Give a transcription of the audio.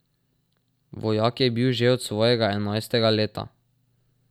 Vojak je bil že od svojega enajstega leta.